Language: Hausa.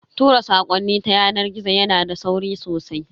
Tura sakonni ta yanar gizo yana da sauri sosai.